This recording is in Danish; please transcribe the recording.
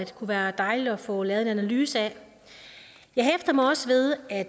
kunne være dejligt at få lavet en analyse af jeg hæfter mig også ved at